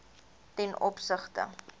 ten opsigte